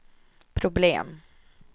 problem